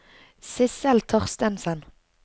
Sissel Thorstensen